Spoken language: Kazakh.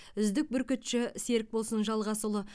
үздік бүркітші серікболсын жалғасұлы